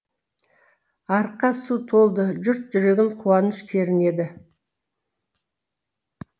арыққа су толды жұрт жүрегін қуаныш кернеді